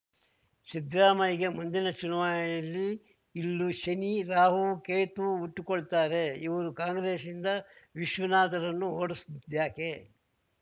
ಸಿದ್ರಾಮಯ್ಯಗೆ ಮುಂದಿನ ಚುನಾವಯಲ್ಲಿ ಇಲ್ಲೂ ಶನಿ ರಾಹು ಕೇತು ಹುಟ್ಟಿಕೊಳ್ತಾರೆ ಇವರು ಕಾಂಗ್ರೆಸ್‌ನಿಂದ ವಿಶ್ವನಾಥರನ್ನು ಓಡಿಸಿದ್ಯಾಕೆ